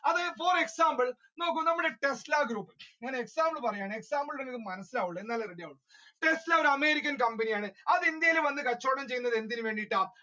അത് for example നോക്കൂ നമ്മുടെ tesla groupexample പറയുകയാണെ example തന്നാലേ മനസ്സിലാവൂ tesla ഒരു അമേരിക്കൻ കമ്പനിയാണ് അത് ഇന്ത്യയിൽ വന്ന് കച്ചവടം ചെയ്യുന്നത് എന്തിന് വേണ്ടിയാണ്